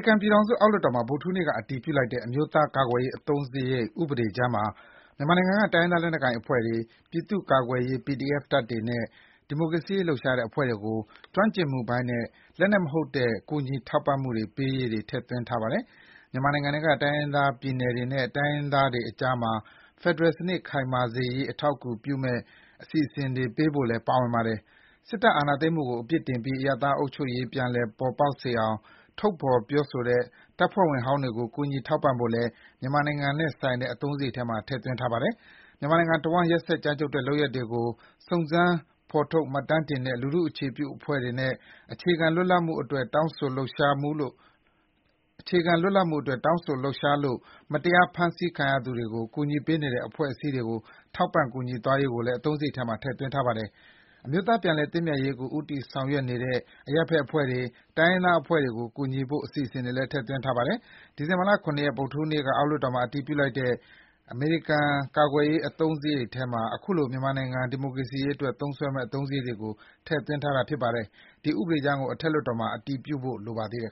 ကန်ပြည်ထောင်စု အောက်လွှတ်တော်မှာ ဗုဒ္ဓဟူးနေ့က အတည်ပြုလိုက်တဲ့ အမျိုးသားကာကွယ်ရေး အသုံးစရိတ်ဥပဒေကြမ်းမှာ မြန်မာနိုင်ငံက တိုင်းရင်းသား လက်နက်ကိုင်အဖွဲ့တွေ၊ ပြည်သူ့ကာကွယ်ရေး PDF တပ်တွေနဲ့ ဒီမိုကရေစီရေးလှုပ်ရှားတဲ့အဖွဲ့တွေကို ကျွမ်းကျင်မှုပိုင်းနဲ့ လက်နက်မဟုတ်တဲ့ ကူညီထောက်ပံ့မှုတွေပေးရေး ထည့်သွင်းထားပါတယ်။ မြန်မာနိုင်ငံထဲက တိုင်းရင်းသားပြည်နယ်တွေနဲ့ တိုင်းရင်းသားတွေကြားမှာ ဖယ်ဒရယ်စနစ် ခိုင်မာစေရေး အထောက်အကူဖြစ်မယ့် အစီအစဉ်တွေပေးဖို့လည်း ပါဝင်ပါတယ်။ စစ်တပ်အာဏာသိမ်းမှုကို အပြစ်တင်ပြီး အရပ်သားအုပ်ချုပ်ရေးပြန်လည်ပေါ်ပေါက်စေအောင် ထုတ်ဖော်ပြောတဲ့ စစ်တပ်ဖွဲ့ဝင်ဟောင်းတွေကို ကူညီထောက်ပံ့ဖို့လည်း မြန်မာနိုင်ငံနဲ့ဆိုင်တဲ့ အသုံးစရိတ်ထဲမှာ ထည့်ထားပါတယ်။ မြန်မာနိုင်ငံတဝန်း ရက်စက် ကြမ်းကြုတ်တဲ့ လုပ်ရပ်တွေကို စုံစမ်းဖော်ထုတ် မှတ်တမ်းတင်တဲ့ လူထုအခြေပြုအဖွဲ့တွေနဲ့ အခြေခံလွတ်လပ်မှုအတွက် တောင်းဆိုလှုပ်ရှားလို့ မတရား ဖမ်းဆီးခံရသူတွေကို ကူညီပေးနေတဲ့ အဖွဲ့အစည်းတွေကို ထောက်ပံ့ကူညီသွားရေးကိုလည်း အသုံးစရိတ်ထဲမှာ ထည့်သွင်းထားပါတယ်။ အမျိုးသားပြန်လည်သင့်မြတ်ရေးကို ဦးစားပေးဆောင်ရွက်နေတဲ့ အရပ်ဖက်အဖွဲ့တွေ၊ တိုင်းရင်းသားအဖွဲ့တွေကိုကူညီဖို့ အစီအစဉ်တွေလည်း ထည့်သွင်းထားပါတယ်။ ဒီဇင်ဘာ ၇ ရက် ဗုဒ္ဓဟူးနေ့က အောက်လွှတ်တော်မှာ အတည်ပြုလိုက်တဲ့ အမေရိကန်ကာကွယ်ရေး အသုံးစရိတ်ထဲမှာ ခုလို မြန်မာနိုင်ငံ ဒီမိုကရေစီရေးအတွက် သုံးစွဲမယ့် အသုံးစရိတ်တွေကို ထည့်သွင်းထားတာဖြစ်ပါတယ်။ ဒီဥပဒေကြမ်းကို အထက်လွှတ်တော်မှာ အတည်ပြုဖို့လိုပါသေးတယ်။